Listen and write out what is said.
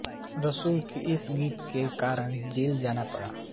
रसूल को इस गीत के कारण जेल जाना पड़ा था